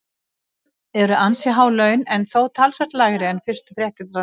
Það eru ansi há laun en þó talsvert lægri en fyrstu fréttir hermdu.